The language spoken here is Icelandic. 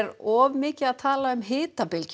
of mikið að tala um hitabylgju